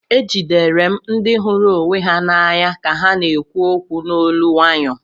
Ejidere m ndị hụrụ onwe ha n'anya ka ha na-ekwu okwu n'olu nwayo